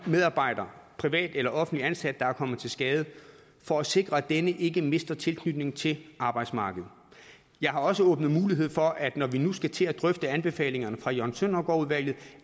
medarbejder privat eller offentligt ansat der er kommet til skade for at sikre at denne ikke mister tilknytningen til arbejdsmarkedet jeg har også åbnet mulighed for at når vi nu skal til at drøfte anbefalingerne fra jørgen søndergaard udvalget